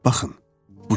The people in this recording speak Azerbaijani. Baxın.